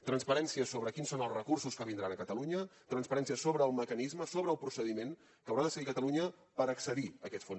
transparència sobre quins són els recursos que vindran a catalunya transparència sobre el mecanisme sobre el procediment que haurà de seguir catalunya per accedir a aquests fons